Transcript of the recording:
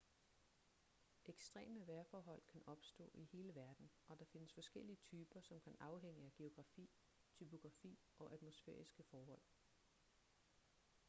ekstreme vejrforhold kan opstå i hele verden og der findes forskellige typer som kan afhænge af geografi topografi og atmosfæriske forhold